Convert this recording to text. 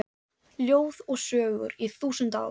Ljóð og sögur í þúsund ár